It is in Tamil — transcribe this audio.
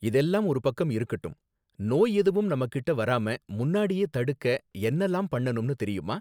இதெல்லாம் ஒரு பக்கம் இருக்கட்டும், நோய் எதுவும் நம்மகிட்ட வராம முன்னாடியே தடுக்க என்னலாம் பண்ணனும் தெரியுமா?